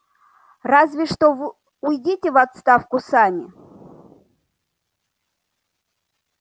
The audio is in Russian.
разве что вы уйдёте в отставку сами